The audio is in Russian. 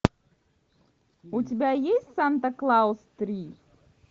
у тебя есть санта клаус три